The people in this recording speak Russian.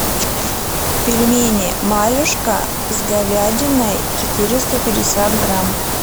пельмени марьюшка с говядиной четыреста пятьдесят грамм